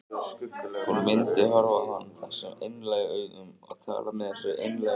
Hún myndi horfa á hann þessum einlægu augum og tala með þessari einlægu rödd.